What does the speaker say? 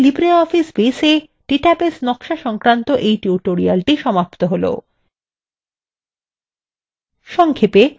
এখানেই libreoffice baseএ database নকশা সংক্রান্ত tutorialএর দ্বিতীয় ভাগ সমাপ্ত হলো